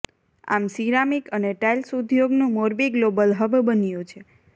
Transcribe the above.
આમ સિરામિક અને ટાઈલ્સ ઉદ્યોગનું મોરબી ગ્લોબલ હબ બન્યું છે